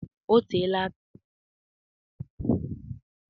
O teela aka m riri azụ arụrụ arụ.